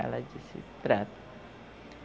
Ela disse, trata.